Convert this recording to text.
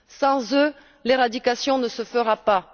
Sans eux, l'éradication ne se fera pas.